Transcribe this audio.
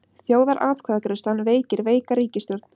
Þjóðaratkvæðagreiðslan veikir veika ríkisstjórn